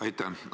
Aitäh!